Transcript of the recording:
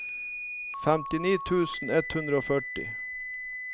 femtini tusen ett hundre og førti